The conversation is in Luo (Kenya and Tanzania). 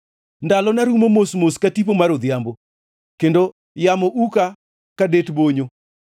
Ndalona rumo mos mos ka tipo mar odhiambo kendo yamo uka ka det bonyo.